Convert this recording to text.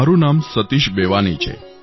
મારું નામ સતીશ બેવાની છે